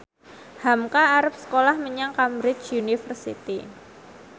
hamka arep sekolah menyang Cambridge University